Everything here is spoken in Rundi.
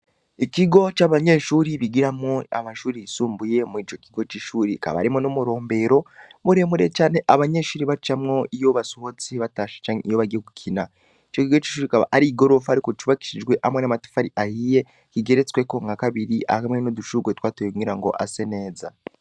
Ikigo c'abanyeshuri bigiramwo amashuri yisumbuye mu'ico kigo c'ishuri kabarimwo n'umurombero muremure cane abanyeshuri bacamwo iyo basuhotse batasha canke iyo bagiye gukina ico kigo c'ishuri ikaba ari i gorofa, ariko cubakishijwe amwe n'amatafari ahiye kigeretsweko nka kabiri ahamwe n'udushurrwe twatoygungira ngo ase neza.